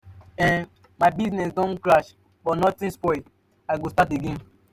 um my business don crash but nothing spoil i go start again.